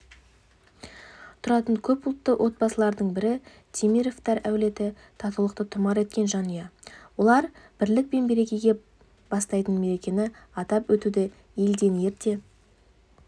тұратын көп ұлтты отбасылардың бірі темировтар әулеті татулықты тұмар еткен жанұя олар бірлік пен берекеге бастайтын мерекені атап өтуді елден ерте